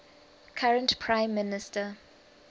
current prime minister